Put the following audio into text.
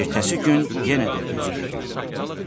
Ertəsi gün yenə də özü getməli oldu.